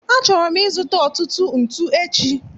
Achọrọ m ịzụta ọtụtụ ntu echi